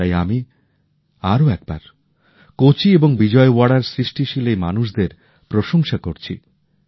তাই আমি আরো একবার কোচি এবং বিজয়ওয়াড়ার সৃষ্টিশীল এই মানুষদের প্রশংসা করছি